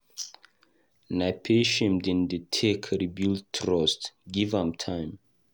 Na patience dem dey take re-build trust, give am time.